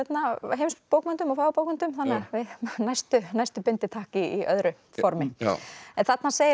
heimsbókmenntum og fagurbókmenntum þannig að næstu næstu bindi takk í öðru formi þarna segir